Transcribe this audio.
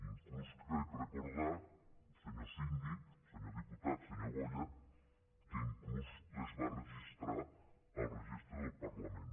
inclús crec recordar senyor síndic senyor diputat senyor boya que inclús les va registrar al registre del parlament